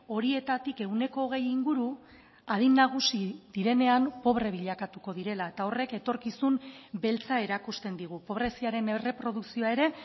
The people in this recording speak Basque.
horietatik ehuneko hogei inguru adin nagusi direnean pobre bilakatuko direla eta horrek etorkizun beltza erakusten digu pobreziaren erreprodukzioa ere